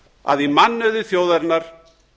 að í mannauði þjóðarinnar